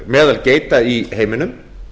meðal geita í heiminum